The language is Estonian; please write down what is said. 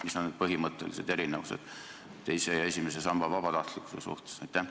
Mis on need põhimõttelised erinevused teise ja esimese samba vabatahtlikkuse vahel?